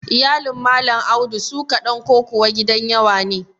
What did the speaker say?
Iyalin Malam Audu su ƙaɗan ko kuwa gidan yawa ne?